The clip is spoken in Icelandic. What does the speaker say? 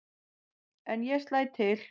En ég slæ til.